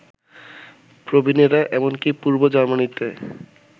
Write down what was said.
প্রবীণেরা এমনকি পূর্ব জার্মানিতে